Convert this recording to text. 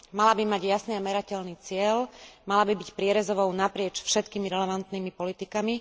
Mala by mať jasný a merateľný cieľ, mala by byť prierezovou naprieč všetkými relevantnými politikami.